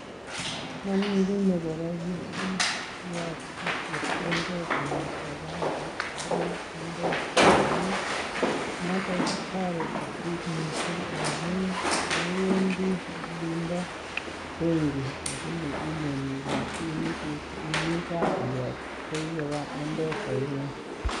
Momi kiy nekorom mising yon kiyokto chepkondok kong'eten bankit agoi Mpesa amun noto kotoreti biik mising amun mewendi olinbo benkit lakini rabinikug imii gaa iyogktoi koba Mpesa ing'ung